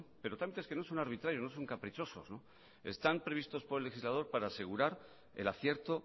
pero tantos que no son arbitrarios no son caprichosos están previstos por el legislador para asegurar el acierto